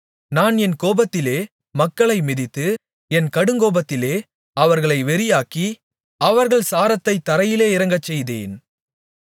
நான் என் கோபத்திலே மக்களை மிதித்து என் கடுங்கோபத்திலே அவர்களை வெறியாக்கி அவர்கள் சாரத்தைத் தரையிலே இறங்கச்செய்தேன்